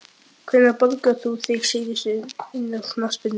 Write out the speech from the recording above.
Hvenær borgaðir þú þig síðast inn á knattspyrnuleik?